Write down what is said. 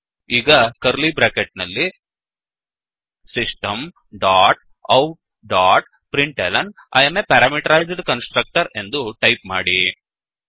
ಈಗ curly bracket ನಲ್ಲಿ system dot out dot println I am a parameterized constructor ಎಂದು type ಮಾಡಿ